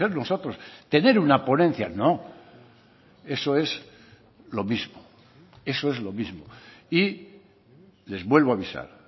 nosotros tener una ponencia no eso es lo mismo eso es lo mismo y les vuelvo avisar